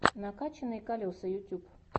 накачанные колеса ютьюб